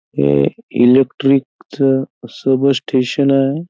हे इलेक्ट्रिक च अस बस स्टेशन आहे.